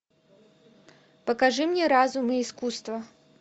покажи мне разум и искусство